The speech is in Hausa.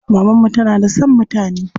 Maman mu tana da son mutane.